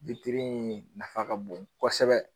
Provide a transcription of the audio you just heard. witri in nafa ka bon kosɛbɛ